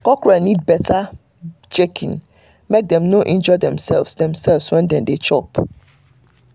cockerel need better checking make dem no injure demself demself when dem dey chop